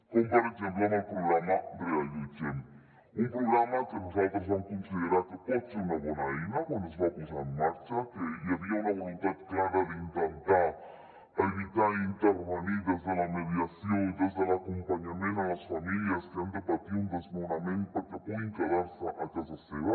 com per exemple el programa reallotgem un programa que nosaltres vam considerar que podia ser una bona eina quan es va posar en marxa que hi havia una voluntat clara d’intentar evitar intervenir des de la mediació i des de l’acompanyament a les famílies que han de patir un desnonament perquè puguin quedar se a casa seva